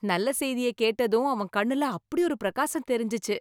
நல்ல செய்திய கேட்டதும் அவன் கண்ணுல அப்படியொரு பிரகாசம் தெரிஞ்சுச்சு